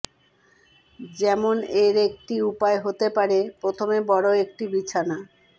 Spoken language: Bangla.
যেমন এর একটি উপায় হতে পারে প্রথমে বড় একটি বিছানা